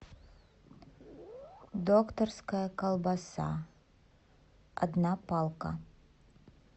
докторская колбаса одна палка